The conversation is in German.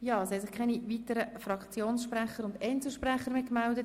Es haben sich keine weiteren Fraktionssprecher und Einzelsprecher gemeldet.